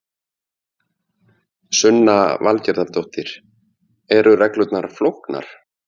Sunna Valgerðardóttir: Eru reglurnar flóknar?